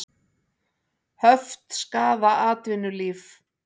Höft skaða atvinnulíf